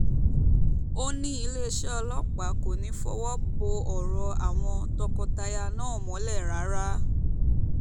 ó ní iléeṣẹ́ ọlọ́pàá kò ní í fọwọ́ bo ọ̀rọ̀ àwọn tọkọ-taya náà mọ́lẹ̀ rárá